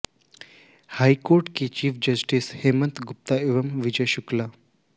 high court के chief justice Hemant Gupta एवं विजय शुक्ला